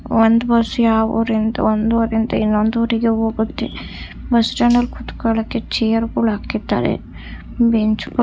ಒಂದು ಬಸ್ ಯಾವ ಊರಿಂದ ಒಂದು ಊರಿಂದ ಇನ್ನೊಂದು ಊರಿಗೆ ಹೋಗುತ್ತೆ ಬಸ್ಟ್ಯಾಂಡ ಲ್ಲಿ ಕೂತ್ಕೊಳ್ಳೋದಕ್ಕೆ ಚೇರ್ ಅನ್ನು ಹಾಕಿದ್ದಾರೆ .